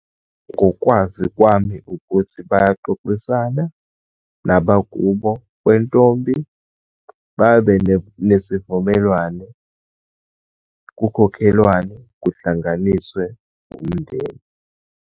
Ngokwazi kwami, ukuthi bayoxoxisana nabakubo kwentombi. Babe nesivumelwane, kukhokhelwane, kuhlanganiswe umndeni.